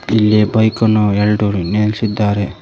ಇಲ್ಲಿ ಬೈಕ ನ್ನು ಎಲ್ಡು ನಿಲ್ಲಿಸಿದ್ದಾರೆ.